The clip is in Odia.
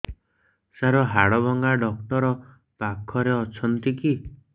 ସାର ହାଡଭଙ୍ଗା ଡକ୍ଟର ପାଖରେ ଅଛନ୍ତି କି